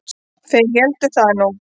Þeir héldu það nú.